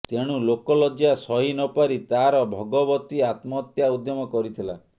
ତେଣୁ ଲୋକଲଜ୍ଜା ସହିନପାରି ତାର ଭଗବତୀ ଆତ୍ମହତ୍ୟା ଉଦ୍ୟମ କରିଥିଲା